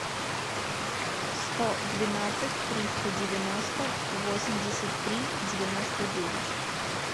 сто двенадцать триста девяносто восемьдесят три девяносто девять